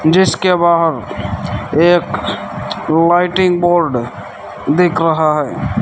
जिसके बाहर एक लाइटिंग बोर्ड दिख रहा है।